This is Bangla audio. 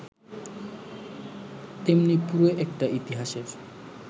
তেমনি পুরো একটা ইতিহাসের